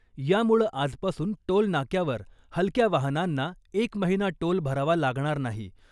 यामुळं आजपासून टोलनाक्यावर हलक्या वाहनांना एक महिना टोल भरावा लागणार नाही .